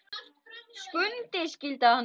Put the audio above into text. Skundi skyldi hann heita.